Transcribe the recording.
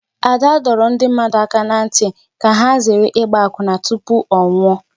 Ada dọrọ ndị mmadụ aka n'ntị ka ha zere ịgba akwụna tụpụ ọ nwụọ